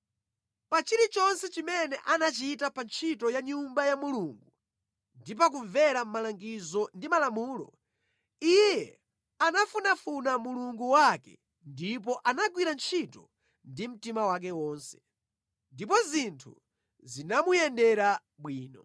Pa chilichonse chimene anachita pa ntchito ya Nyumba ya Mulungu ndi pa kumvera malangizo ndi malamulo, iye anafunafuna Mulungu wake ndipo anagwira ntchito ndi mtima wake wonse. Ndipo zinthu zimamuyendera bwino.